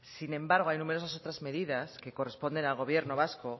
sin embargo hay numerosas otras medidas que corresponden al gobierno vasco